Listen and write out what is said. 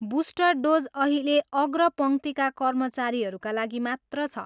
Booster dose अहिले अग्रपङ्क्तिका कर्मचारीका लागि मात्र छ।